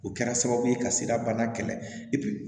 O kɛra sababu ye ka se ka bana kɛlɛ